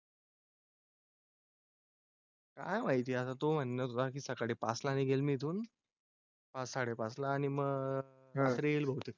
काय माहिती असं तो म्हणत बाकी सकाळी पाचला निघेल मी तून. साडेपाचला आणि मग रेल होऊ शकतो.